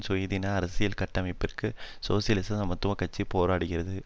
சுயாதீன அரசியல் கட்டமைப்பிற்கு சோசியலிச சமத்துவ கட்சி போராடுகிறது